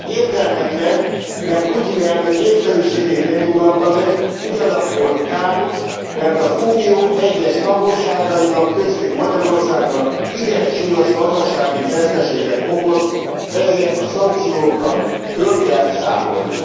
Értelmetlen, mert Putyin elnök népszerűségét nem ingatta meg, ugyanakkor káros, mert az Unió egyes tagországainak, köztük Magyarországnak igen súlyos gazdasági veszteséget okoz, ezért a szankciókat föl kell számolni.